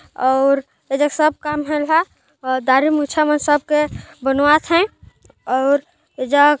और एदे सब काम हो र हा और दाढ़ी मुछा सब बनवा थेऔर एजग--